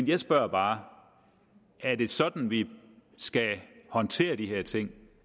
jeg spørger bare er det sådan vi skal håndtere de her ting